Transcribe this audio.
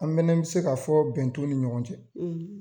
An fanɛ bɛ se k'a fɔ bɛn tɛ u ni ɲɔgɔn cɛ.